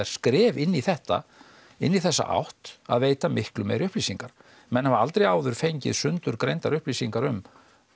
skref inn í þetta inn í þessa átt að veita miklu meiri upplýsingar menn hafa aldrei áður fengið sundurgreindar upplýsingar um